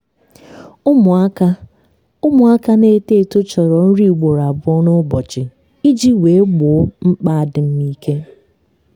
ụmụaka ụmụaka na-eto eto chọrọ nri ugboro abụọ n'ụbọchị iji wee gboo mkpa adịm ike.